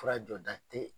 Fura jɔda te